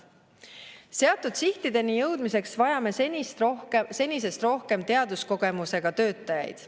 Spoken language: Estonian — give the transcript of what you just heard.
Seatud sihtideni jõudmiseks vajame senisest rohkem teaduskogemusega töötajaid.